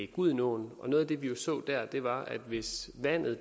gudenåen og noget af det vi så dér var at hvis vandet